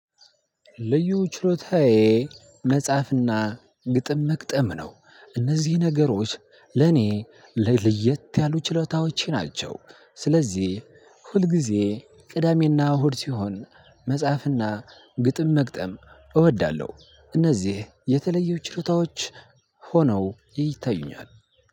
ልዩ ችሎታዬ መጻፍና ግጥም መግጠም ነው። እነዚህ ነገሮች ለኔ ለየት ያሉ ችሎታዎቼ ናቸው። ስለዚህ ሁልጊዜ ቅዳሜና እሁድ ሲሆን መጽሐፍና ግጥም መግጠም እወዳለሁ። እነዚህ የተለዩ ችሮታዎች ሆነው ይታዩኛል።